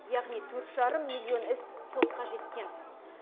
яғни төрт жарым миллион іс сотқа жеткен